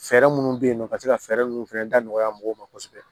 Fɛɛrɛ minnu bɛ yen nɔ ka se ka fɛɛrɛ minnu fɛnɛ da nɔgɔya mɔgɔw ma kosɛbɛ